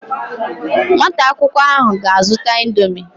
Nwata akwukwo ahu ga azuta indomie